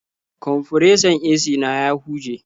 Kwamfuresan AC na ya huje.